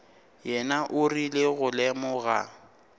yena o rile go lemoga